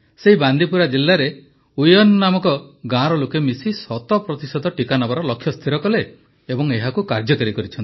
ସେହି ବାନ୍ଦିପୁରା ଜିଲ୍ଲାରେ ଡରଚ୍ଚବଦ୍ଭ ନାମକ ଗାଁର ଲୋକେ ମିଶି ଶତ ପ୍ରତିଶତ ଟିକା ନେବାର ଲକ୍ଷ୍ୟ ସ୍ଥିର କଲେ ଏବଂ ଏହାକୁ କାର୍ଯ୍ୟକାରୀ କଲେ